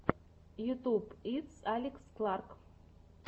ютюб итс алекс кларк